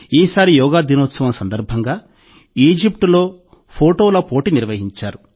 ఈసారి యోగా దినోత్సవం సందర్భంగా ఈజిప్టులో ఫొటోల పోటీ నిర్వహించారు